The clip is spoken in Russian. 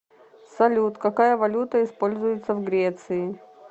салют какая валюта используется в греции